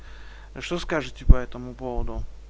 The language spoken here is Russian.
что скажете по этому поводу